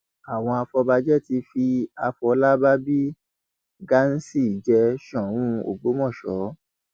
àwọn afọbàjẹ ti fi àfọlábàbí ghansi jẹ sóun ògbómọṣọ